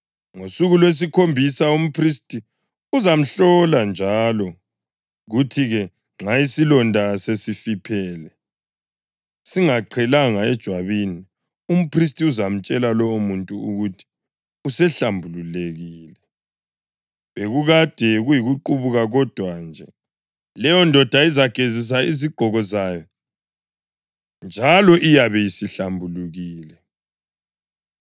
Ngosuku lwesikhombisa umphristi uzamhlola njalo, kuthi-ke nxa isilonda sesifiphele singaqhelanga ejwabini, umphristi uzamtshela lowomuntu ukuthi usehlambulukile, bekukade kuyikuqubuka kodwa nje. Leyondoda izagezisa izigqoko zayo njalo iyabe isihlambulukile.